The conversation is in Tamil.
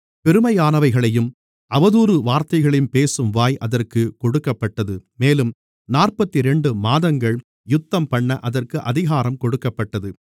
பெருமையானவைகளையும் அவதூறான வார்த்தைகளையும் பேசும் வாய் அதற்குக் கொடுக்கப்பட்டது மேலும் நாற்பத்திரண்டு மாதங்கள் யுத்தம்பண்ண அதற்கு அதிகாரம் கொடுக்கப்பட்டது